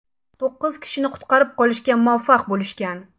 To‘qqiz kishini qutqarib qolishga muvaffaq bo‘lishgan.